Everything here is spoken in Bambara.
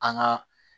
An ka